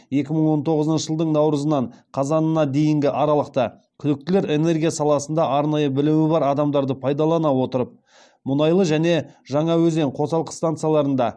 екі мың он тоғызыншы жылдың наурызынан қазанына дейінгі аралықта күдіктілер энергия саласында арнайы білімі бар адамдарды пайдалана отырып мұнайлы және жаңаөзен қосалқы станцияларында